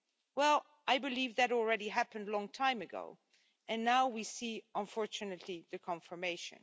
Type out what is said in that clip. Well, I believe that already happened a long time ago and now we see unfortunately the confirmation.